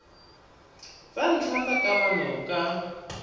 tsa ntlha tsa kamano ka